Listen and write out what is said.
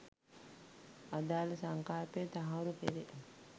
අදාළ සංකල්පය තහවුරු කෙරෙ